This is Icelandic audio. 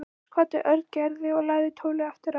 Loks kvaddi Örn Gerði og lagði tólið aftur á.